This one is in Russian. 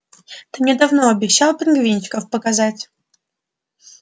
ты мне давно обещал пингвинчиков показать